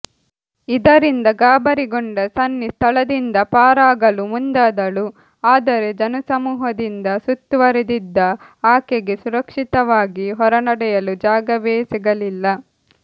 ಇದರಿಂದ ಗಾಬರಿಗೊಂಡ ಸನ್ನಿ ಸ್ಥಳದಿಂದ ಪಾರಾಗಲು ಮುಂದಾದಳು ಆದರೆ ಜನಸಮೂಹದಿಂದ ಸುತ್ತುವರಿದಿದ್ದ ಆಕೆಗೆ ಸುರಕ್ಷಿತವಾಗಿ ಹೊರನಡೆಯಲು ಜಾಗವೇ ಸಿಗಲಿಲ್ಲ